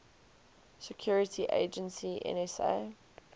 security agency nsa